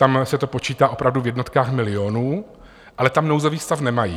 Tam se to počítá opravdu v jednotkách milionů, ale tam nouzový stav nemají.